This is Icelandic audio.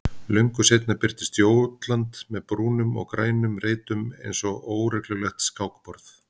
Löngu seinna birtist Jótland með brúnum og grænum reitum einsog óreglulegt skákborð.